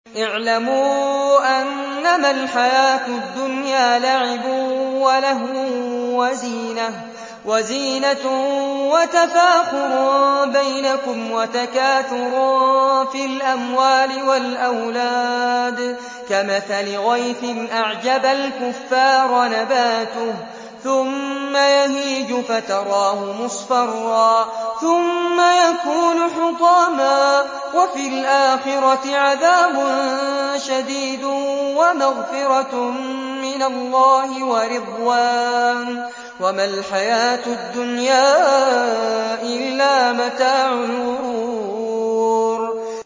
اعْلَمُوا أَنَّمَا الْحَيَاةُ الدُّنْيَا لَعِبٌ وَلَهْوٌ وَزِينَةٌ وَتَفَاخُرٌ بَيْنَكُمْ وَتَكَاثُرٌ فِي الْأَمْوَالِ وَالْأَوْلَادِ ۖ كَمَثَلِ غَيْثٍ أَعْجَبَ الْكُفَّارَ نَبَاتُهُ ثُمَّ يَهِيجُ فَتَرَاهُ مُصْفَرًّا ثُمَّ يَكُونُ حُطَامًا ۖ وَفِي الْآخِرَةِ عَذَابٌ شَدِيدٌ وَمَغْفِرَةٌ مِّنَ اللَّهِ وَرِضْوَانٌ ۚ وَمَا الْحَيَاةُ الدُّنْيَا إِلَّا مَتَاعُ الْغُرُورِ